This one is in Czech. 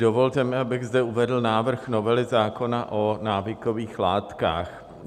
Dovolte mi, abych zde uvedl návrh novely zákona o návykových látkách.